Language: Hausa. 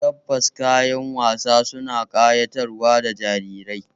Tabbas, kayan wasa suna ƙayatar da jarirai